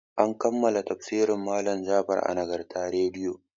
An kammala tafsirin malam Jafar a Nagarta rediyo.